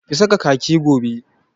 Ki saka kaki gobe!